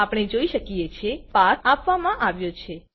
આપણે જોઈ શકે છે પાથ આપવામાં આવ્યો છે